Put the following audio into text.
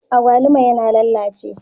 Agwaluma yana lallace.